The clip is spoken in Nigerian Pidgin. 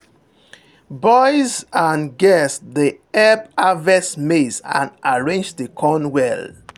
boys and girls dey help harvest maize and arrange the corn well.